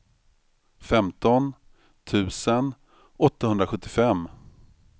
femton tusen åttahundrasjuttiofem